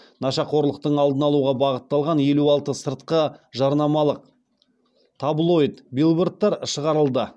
нашақорлықтың алдын алуға бағытталған елу алты сыртқы жарнамалық таблоид билбордтар шығарылды